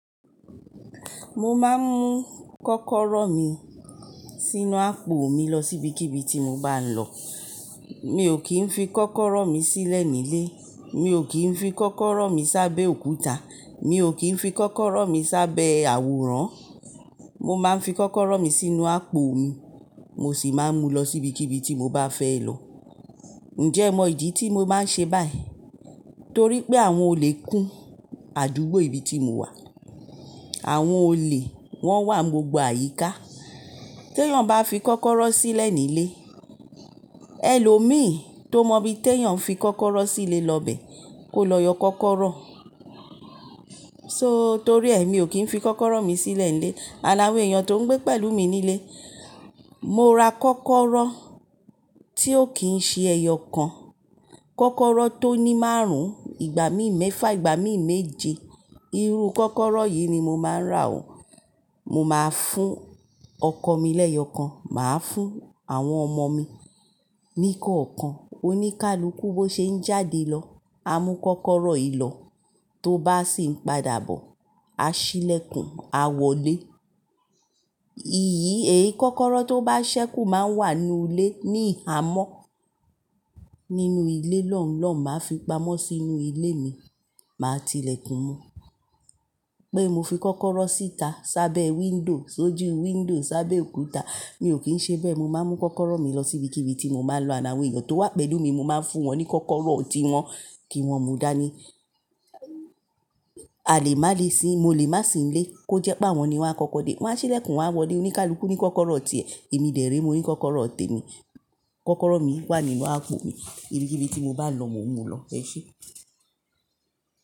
Mo máa ń mú kọ́kọ́rọ́ mi sínú àpò mi lọ sí ibikíbi tí mo bá ń lọ. Mi ò kí ń fi kọ́kọ́rọ́ mi sílẹ̀ nílé, mi ò kí ń fi kọ́kọ́rọ́ mi sábẹ́ òkúta, mi ò kí ń fi kọ́kọ́rọ́ mi sábẹ́ àwòrán. Mo máa ń fi kọ́kọ́rọ́ mi sínú àpò mi, mo sì máa ń mu lọ sí ibikíbi tí mo bá fẹ́ lọ. Ǹjẹ́ ìmọ̀ ìdí tí mo bá ń ṣe báyìí? Torí pé àwọn olè kún àdúgbò ibi tí mo wà. Àwọn olè wọ́n wà gbogbo àyíká. Tẹ́yàn bá fi kọ́kọ́rọ́ sílẹ̀ nílé, ẹlòmíí tó mọ bí Tẹ́yàn fi kọ́kọ́rọ́ sílé lọ bẹ, kó lọ yọ kọ́kọ́rọ́. So torí ẹ mi ò kí ń fi kọ́kọ́rọ́ mi sílẹ̀ nílé. And awọn èèyàn tó ń gbé pẹ̀lú mi nílé, mo ra kọ́kọ́rọ́ tí ó kì í ṣe ẹyọ kan. Kọ́kọ́rọ́ tó ní márùn-ún, ìgbà mí ì mẹ́fà, ìgbà mí ì méje. Irú kọ́kọ́rọ́ yìí ni mo máa ń rà ó. Mo máa fún ọkọ mi lẹ́yọ̀kan, màá fún àwọn ọmọ mi ní kọ̀ọ̀kan. Oníkálukú bó ṣe ń jáde lọ, a mú kọ́kọ́rọ́ ì lọ, tó bá sì ń padà bọ̀, a ṣílẹ̀kùn, a wọlé. Iyì èyí kọ́kọ́rọ́ tó bá ṣẹ́kù máa ń wà nínú ilé ní ìhámọ́. Nínú ilé lọ̀ọ́nlọ̀ọ́ máa fi pamọ́ sínú ilé mi, màá ti lẹ̀kùn mo Pé mo fi kọ́kọ́rọ́ síta sábẹ́ window, sójú window sábẹ́ òkúta, mi ò kí ń ṣe bẹ́ẹ̀. Mo máa ń mú kọ́kọ́rọ́ mi lọ sí ibikíbi tí mo bá ń lọ. And awon èèyàn tó wà pẹ̀lú mi, mo máa ń fún wọn ní kọ́kọ́rọ́ ọtí wọn kí wọ́n mú dání. Àlè má le sí, mo lè má sì ń lé. Ó jẹ́ pé àwọn ni wọ́n á kọ́kọ́ de, wọ́n á ṣílẹ̀kùn, wọ́n á wọlé. Oníkálukú ní kọ́kọ́rọ́ ọtí ẹ, èmi dẹ̀ rẹ́ mi, mo ní kọ́kọ́rọ́ ọtí mi. Kọ́kọ́rọ́ mi wà nínú àpò mi. Ibikíbi tí mo bá lọ, mo ń mú lọ. Ẹ ṣé.